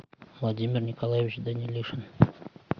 владимир николаевич данилишин